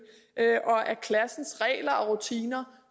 og at klassens regler og rutiner